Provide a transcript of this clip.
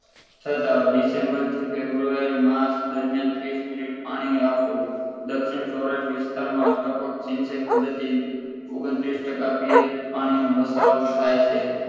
છતાં december થી february March દરમિયાન ત્રીસ મિનિટ પાણી આપવું દક્ષિણ સૌરાષ્ટ્ર વિસ્તારમાં ટપકસિંચાઇ પદ્ધતિ ઓગણત્રીસ પીએચ બતાવો થાય છે